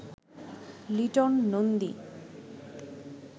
Liton Nandi